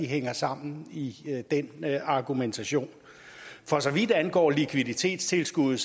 hænger sammen i den argumentation for så vidt angår likviditetstilskuddet